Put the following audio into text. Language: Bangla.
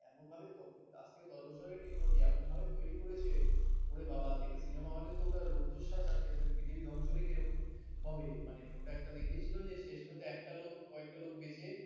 এমনভাবে তখন পাঁচ থেকে দশ বছর আগের technology এমনভাবে তৈরি করেছে ওরে বাবা দেখে সিনেমা হলেতো ওটা রুদ্ধশ্বাস আটকে আছে পৃথিবী ধ্বংস হলে কি রকম হবে মানে ওটা একটা দেখিয়েছিল যে শেষ পর্যন্ত একটা লোক একটা লোক বেঁচে